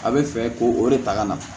A bɛ fɛ k'o o de ta ka na